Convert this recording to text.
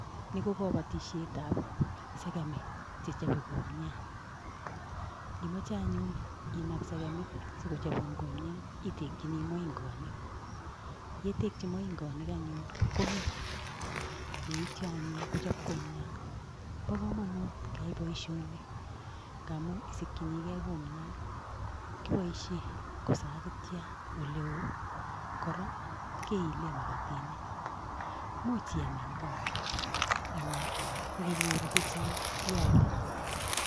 Ni ko kobotishietab segemek chechobe kumiat. Ingimoche anyun inaam segemik sikochobuun kumiat itekyini moingoonik, yetekchii moingoonik anyun komeny. Yeityoo anyun kochob kumiat, Bo komonut keyai boishonii ngamun isikchini gee kumiat, kiboishien kosakitian oleeoo. Kora kiilen makatinik, much iam en gaa anan indinyooru chechang ialdee